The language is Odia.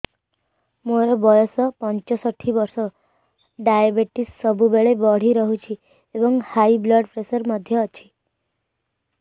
ମୋର ବୟସ ପଞ୍ଚଷଠି ବର୍ଷ ଡାଏବେଟିସ ସବୁବେଳେ ବଢି ରହୁଛି ଏବଂ ହାଇ ବ୍ଲଡ଼ ପ୍ରେସର ମଧ୍ୟ ଅଛି